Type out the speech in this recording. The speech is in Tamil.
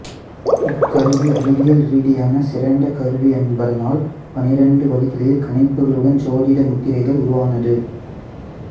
இக்கருவி அறிவியல் ரீதியான சிறந்த கருவி என்பதனால் பன்னிரண்டு வழிகளில் கணிப்புகளுடன் ஜோதிட முத்திரைகள் உருவானது